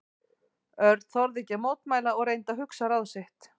Örn þorði ekki að mótmæla og reyndi að hugsa ráð sitt.